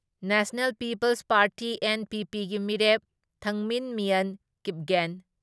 national peoples party NPP ꯒꯤ ꯃꯤꯔꯦꯞ ꯊꯪꯃꯤꯟꯃꯤꯌꯟ ꯀꯤꯞꯒꯦꯟ,